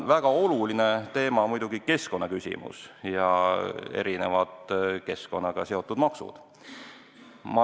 Väga oluline teema praegu on muidugi keskkonna hoidmine ja erinevad keskkonnaga seotud maksud.